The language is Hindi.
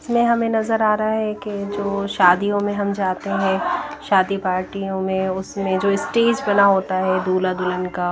इसमें हमें नजर आ रहा है कि जो शादियों में हम जाते हैं शादी पार्टीयों में उसमें जो स्टेज बना होता है दूल्हा दुल्हन का--